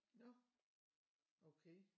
Nåh okay